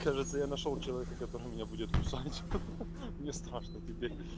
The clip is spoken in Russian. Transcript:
кажется я нашёл человека который меня будет кусать ха ха мне страшно теперь